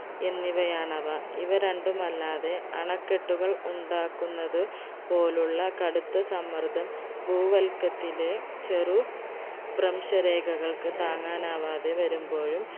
എന്നിവയാണവ ഇവരണ്ടുമല്ലാതെ അണക്കെട്ടുകൾ ഉണ്ടാക്കുന്നത് പോലുള്ള കടുത്ത സമ്മർദം ഭൂവല്കത്തിലെ ചെറു ഭ്രംശരേഖകൾക്ക് താങ്ങനാവാതെ വരുമ്പോഴും